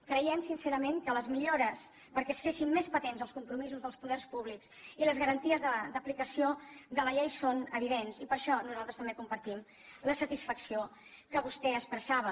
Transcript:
creiem sincerament que les millores perquè es fessin més patents els compromisos dels poders públics i les garanties d’aplicació de la llei són evidents i per això nosaltres també compartim la satisfacció que vostè expressava